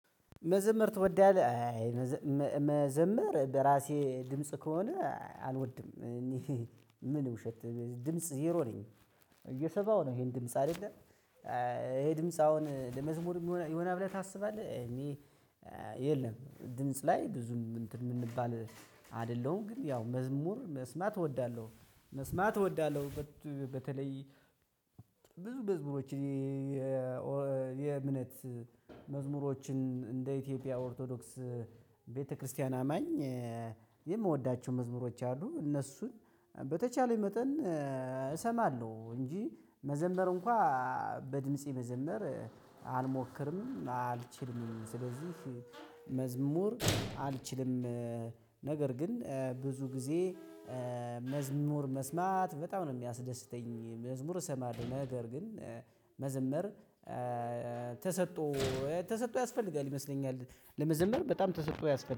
መዘምር ትወዳለህ አይ መዘምር በራሴ ድምጽ ከሆነ አልወድም እኔ ምን ውሸት ድምጽ ዜሮ ነኝ እየሰማሀው ነው ይሄን ድምጽ አይደለም። ይሄ ድምጽ አሁን ለመዝሙር የሚሆን ይሆናል ብለህ ታስባለህ እኔ? የለም ድምጽ ላይ ብዙም እንትን የምንባል አይደለሁም። ግን ያው መዝሙር መስማት እወዳለሁ መስማት እወዳለሁ በተለይ መዝሙሮች። የእምነት መዝሙሮችን እንደ ኢትዮጵያ ኦርቶዶክስ ቤተክርስቲያን አማኝ የምወዳቸው መዝሙሮች አሉ። እነሱን በተቻለኝ መጠን እሰማለሁ። እንጂ መዘመር እንኳን በድምፄ መዘመር አልሞክርም አልችልም ስለዚህ መዝሙር አልችልም። ነገር ግን ብዙ ጊዜ መዝሙር መስማት በጣም ነው የሚያስደስተኝ። መዝሙር እሰማለሁ ነገር ግን መዘመር ተሰጦ ተሰጥኦ ያስፈልጋል ይመስለኛል ለመዘመር በጣም ተሰጥኦ ያስፈልጋል